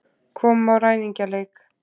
Komum í ræningjaleik.